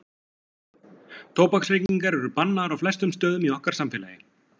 Tóbaksreykingar eru bannaðar á flestum stöðum í okkar samfélagi.